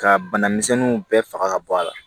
Ka bana misɛnninw bɛɛ faga ka bɔ a la